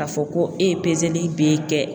K'a fɔ ko e ye peseli b'e kɛ